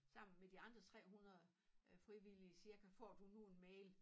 Sammen med de andre 300 øh frivillige cirka får du nu en mail